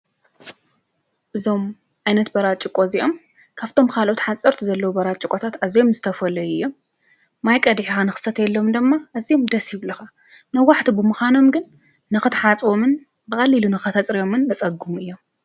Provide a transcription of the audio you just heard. እዞም ዓይነት በራጭቆ እዚኦም ካብቶም ካልኦት ሓፀርቲ ዘለዉ ቦራጩቆታት ኣዝዮም ዝተፈለዩ እዮም ማይ ቀዲሕኻ ንኽትሰትየሎም ድማ እዚኦም ደስ ይብሉኻ ነዋሕቲ ብምዃኖም ግን ንኽትሓፅቦምን ብቐሊሉ ንኸተፅርዮምን ዘፀግሙ እዮም